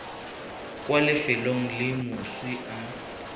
kwa lefelong le moswi a